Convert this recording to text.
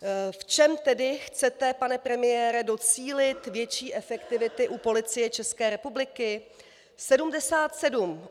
V čem tedy chcete, pane premiére, docílit větší efektivity u Policie České republiky?